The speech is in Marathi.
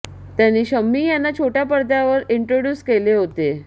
त्यांनी शम्मी यांना छोट्या पडद्यावर इंट्रोड्युस केले होते